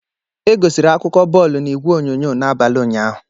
Egosiri akụkọ bọọlụ na igwe onyonyo n'abalị ụnyaahụ.